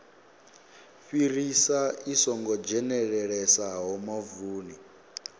fhirisa i songo dzhenelelesaho mavuni